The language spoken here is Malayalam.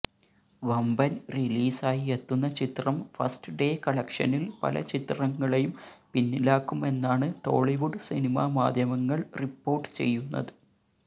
വമ്പന് റിലീസായി എത്തുന്ന ചിത്രം ഫസ്റ്റ് ഡേ കളക്ഷനില് പല ചിത്രങ്ങളെയും പിന്നിലാക്കുമെന്നാണ് ടോളിവുഡ് സിനിമാ മാധ്യമങ്ങള് റിപ്പോര്ട്ട് ചെയ്യുന്നത്